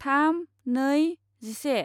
थाम नै जिसे